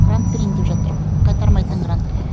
грант берейін деп жатыр ғой қайтармайтын грант